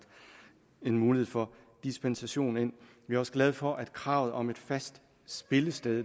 en mulighed for dispensation ind vi også glade for at kravet om et fast spillested